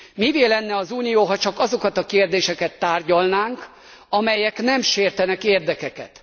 Mivé lenne az Unió, ha csak azokat a kérdéseket tárgyalnánk, amelyek nem sértenek érdekeket?